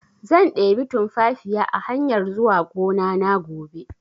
Zan ɗebi tunfafiya a hanyar zuwa gonana gobe